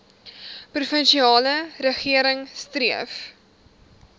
provinsiale regering streef